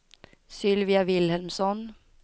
Sylvia Vilhelmsson